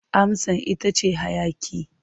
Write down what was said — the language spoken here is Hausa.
Amsar ita ce hayaƙi.